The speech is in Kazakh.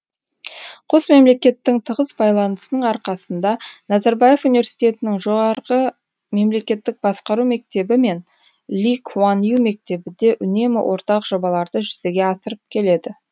қос мемлекеттің тығыз байланысының арқасында назарбаев университетінің жоғары мемлекеттік басқару мектебі мен ли куан ю мектебі де үнемі ортақ жобаларды жүзеге асырып келеді